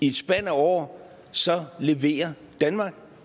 et spand af år leverer danmark